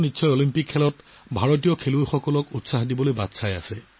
Olympic গেমছৰ বাবে ভাৰতীয় দলৰ মই বহুত বহুত শুভকামনা জ্ঞাপন কৰিলোঁ